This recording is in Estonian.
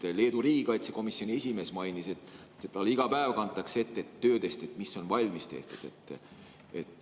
Ja Leedu riigikaitsekomisjoni esimees mainis, et talle iga päev kantakse ette töödest, mis on valmis tehtud.